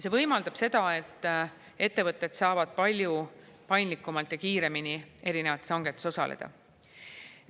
See võimaldab seda, et ettevõtted saavad palju paindlikumalt ja kiiremini erinevates hangetes osaleda.